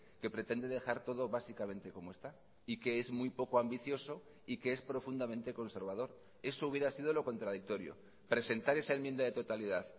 que pretende dejar todo básicamente como está y que es muy poco ambicioso y que es profundamente conservador eso hubiera sido lo contradictorio presentar esa enmienda de totalidad